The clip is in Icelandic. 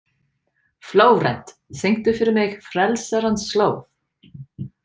Flórent, syngdu fyrir mig „Frelsarans slóð“.